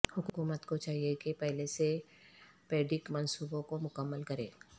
حکومت کو چاہئے کہ پہلے سے پیڈگ منصوبوں کو مکمل کرے